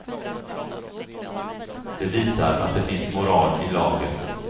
Det visar att det finns moral i laget.